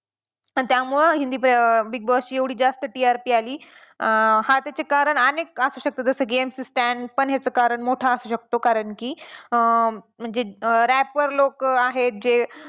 आणि त्यामुळं Hindi Big Boss ची एवढी जास्त TRP आली. अं हा त्याचे कारण अनेक असू शकतं जसं की MC Stan पण याचा कारण मोठा असू शकतो कारण की अं म्हणजे rap वर लोकं आहेत जे